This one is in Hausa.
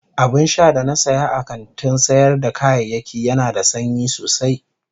Abinsha da na siya a kantin sayar da kayayyaki Yana da sanyi sosai.